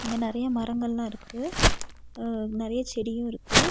இங்க நறைய மரங்கல்லா இருக்கு. அ நறைய செடியு இருக்கு.